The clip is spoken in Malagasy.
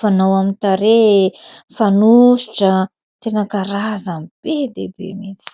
fanao amin'ny tarehy, fanosotra... Tena karazany be dia be mihitsy.